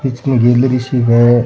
इसमें गैलरी सी है।